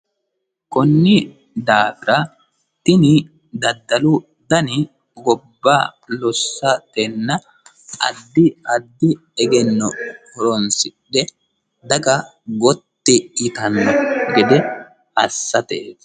kunni daafira tini daddalu dani gobba lossa kenna addi addi egenno horonisidhe daga gotti yitanno gede assateeti